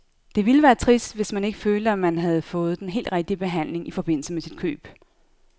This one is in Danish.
Det ville være trist, hvis man ikke følte, at man havde fået den helt rigtige behandling i forbindelse med sit køb.